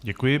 Děkuji.